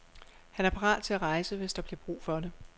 Han er parat til at rejse, hvis der bliver brug for det.